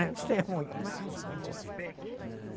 Isso é muito.